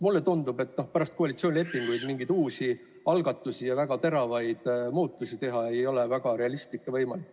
Mulle tundub, et pärast koalitsioonilepingut mingeid uusi algatusi ja väga teravaid muudatusi teha ei ole võimalik, see pole reaalne.